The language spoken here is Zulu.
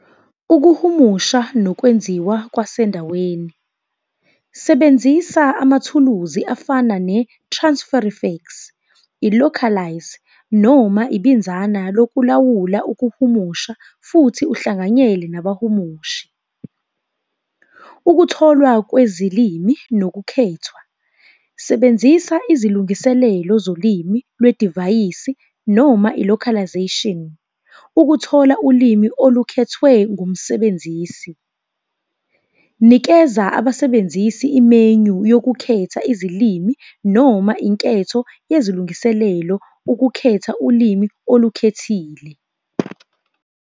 Ukuhumusha nokwenziwa kwasendaweni. Sebenzisa amathuluzi afana ne-transfer effects, i-localised noma ibinzana lokulawula ukuhumusha futhi uhlanganyele nabahumushi. Ukutholwa kwezilimi nokukhethwa, sebenzisa izilungiselelo zolimi lwedivayisi noma i-localisation, ukuthola ulimi olukhethwe ngumsebenzisi. Nikeza abasebenzisi i-menu yokukhetha izilimi noma inketho yezilungiselelo ukukhetha ulimi olukhethile.